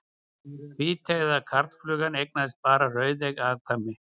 Hvíteygða karlflugan eignaðist bara rauðeygð afkvæmi.